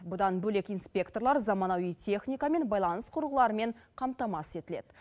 бұдан бөлек инспекторлар заманауи техника мен байланыс құрылғыларымен қамтамасыз етіледі